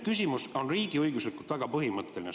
Küsimus on riigiõiguslikult väga põhimõtteline.